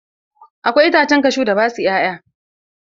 Akwai itacen kashu da ba sua 'ya'ya.